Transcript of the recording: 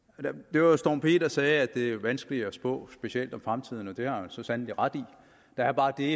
det var storm p der sagde at det er vanskeligt at spå specielt om fremtiden og det har han så sandelig ret i der er bare det